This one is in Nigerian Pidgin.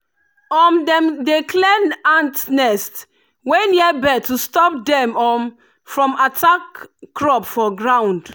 um dem dey clear ant nest wey near bed to stop dem um from attack crop for ground.